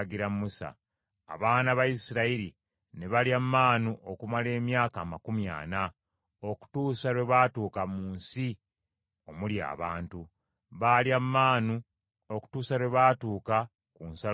Abaana ba Isirayiri ne balya maanu okumala emyaka amakumi ana, okutuusa lwe baatuuka mu nsi omuli abantu. Baalya maanu okutuusa lwe baatuuka ku nsalo ya Kanani.